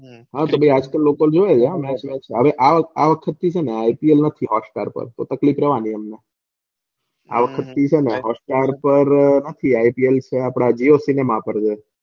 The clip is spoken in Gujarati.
હમ આજકાલ લોકો જોયો ને match બેચ હવે આ વખતે છે ને ipl નથી hotstar પર હવે તકલીફ રેવાની અમને આ વખતે hoststar પર નથી jiocinema પર છે. હમ